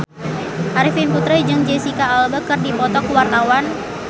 Arifin Putra jeung Jesicca Alba keur dipoto ku wartawan